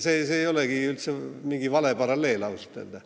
See ei ole üldse vale paralleel, ausalt öelda.